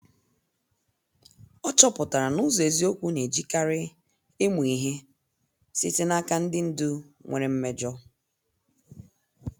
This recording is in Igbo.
Ọ chọpụtara na ụzọ eziokwu na- ejikarị ịmụ ihe site n' aka ndị ndú nwere mmejọ.